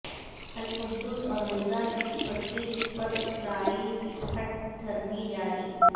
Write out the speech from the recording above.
القدس اور غزہ کی پٹی پر اسرائیل کی ہٹ دھرمی جاری